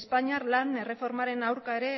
espainiar lan erreformaren aurka ere